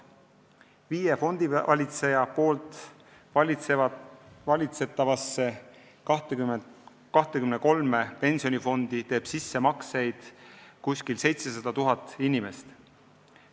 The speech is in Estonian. Viie fondivalitseja valitsetavasse 23 pensionifondi teeb sissemakseid umbes 700 000 inimest.